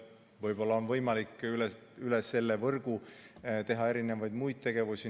Võib-olla on võimalik üle selle võrgu teha muidki tegevusi.